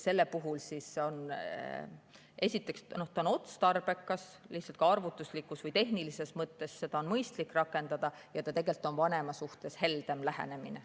See on otstarbekas, lihtsalt ka arvutuslikus või tehnilises mõttes on seda mõistlik rakendada ja see on vanema suhtes tegelikult heldem lähenemine.